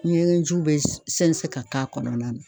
Ɲɛgɛn jiw bɛ sɛnsɛn ka k'a kɔnɔna na.